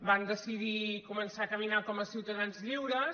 van decidir començar a caminar com a ciutadans lliures